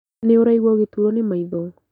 Nĩũraigua ũgĩturuo nĩ maitho